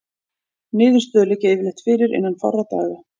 Niðurstöður liggja yfirleitt fyrir innan fárra daga.